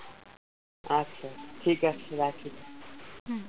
আচ্ছা ঠিকাছে রাখি।